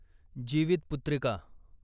Jivitputrika